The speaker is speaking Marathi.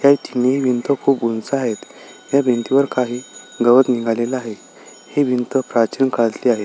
ह्या तिन्ही भिंत खूप उंच आहेत त्या भिंती वर काही गवत निघाले आहे ही भिंत प्राचीन काळातली आहे.